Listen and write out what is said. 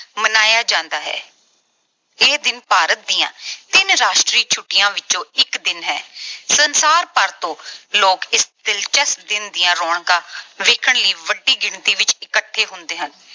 ਮਨਾਇਆ ਜਾਂਦਾ ਹੈ। ਇਹ ਦਿਨ ਭਾਰਤ ਦੀਆਂ ਤਿੰਨ ਰਾਸ਼ਟਰੀ ਛੁੱਟੀਆਂ ਵਿੱਚੋਂ ਇੱਕ ਦਿਨ ਹੈ। ਸੰਸਾਰ ਭਰ ਤੋਂ ਲੋਕ ਇਸ ਦਿਲਚਸਪ ਦਿਨ ਦੀਆਂ ਰੌਣਕਾਂ ਵੇਖਣ ਲਈ ਵੱਡੀ ਗਿਣਤੀ ਵਿੱਚ ਇੱਕਠੇ ਹੁੰਦੇ ਹਨ।